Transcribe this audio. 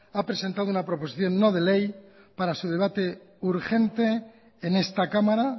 ha presentado una proposición no de ley para su debate urgente en esta cámara